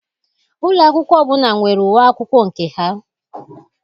Ụlọ akwụkwọ ọbụla nwere uwe akwụkwọ nke ha.